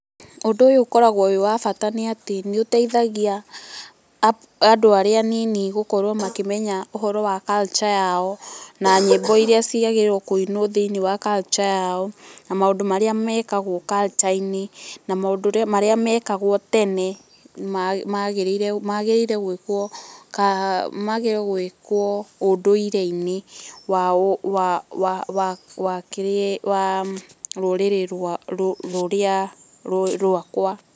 ũndũ ũyũ ũkoragwo wĩ wa bata nĩ atĩ nĩũteithagia andũ arĩa aninĩ gũkorwo makĩmenya ũhoro wa culture yao na nyĩmbo ĩrĩa ciagĩrĩire kũinwo thĩinĩ wa culture yao na maũndũ marĩa mekagwo culture -inĩ na maũndũ marĩa mekagwo tene magĩrĩire nĩ gwĩkwo ũndũireinĩ wa rũrĩrĩ rwakwa.